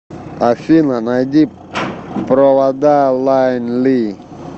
афина найди провода лайн ли